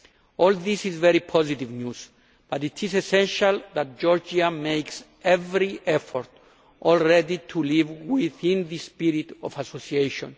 All this is very positive news, but it is essential that Georgia makes every effort already to live within the spirit of association.